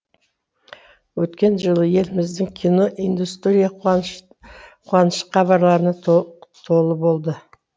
өткен жылы еліміздің кино индустрия қуаныш хабарларына толы болды